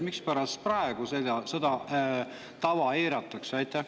Mispärast praegu seda tava eiratakse?